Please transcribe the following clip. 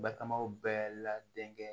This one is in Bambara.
Batamaw bɛɛ la denkɛ